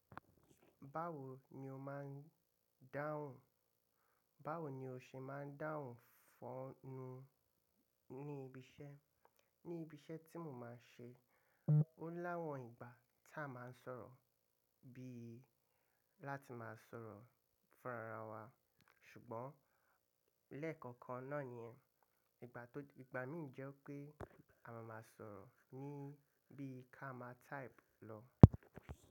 Báwo ni o máa ń dáhùn? Báwo ni o ṣe máa ń dáhùn fún-ún ní ibi iṣẹ́? Ní ibi iṣẹ́ tí mo máa ń ṣe, ó láwọn ìgbà tí a máa ń sọ̀rọ̀ bí i láti máa sọ̀rọ̀ fún ara wa. Ṣùgbọ́n lẹ́ẹ̀kọ̀kan náà nìyẹn. Ìgbà tó-- ìgbà mìí jẹ́ pé a máa máa sọ̀rọ̀ ní bí i ká máa type lọ.